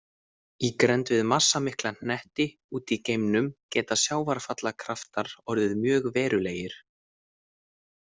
Í grennd við massamikla hnetti úti í geimnum geta sjávarfallakraftar orðið mjög verulegir.